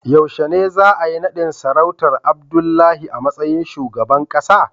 Yaushe ne za a yi nadin sarautar Abdullahi a matsayin shugaban kasa?